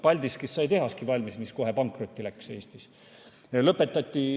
Paldiskis sai tehaski valmis, mis kohe pankrotti läks.